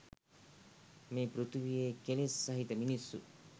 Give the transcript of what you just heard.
මේ පෘථිවියේ කෙලෙස් සහිත මිනිස්සු